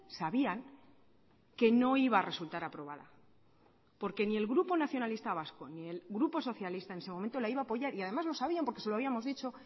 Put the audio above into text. sabían que no iba a resultar aprobada porque ni el grupo nacionalista vasco ni el grupo socialista en ese momento la iba a apoyar y además lo sabían porque se lo habíamos dicho